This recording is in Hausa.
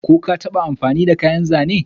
Ko ka taba amfani da kayan Zane?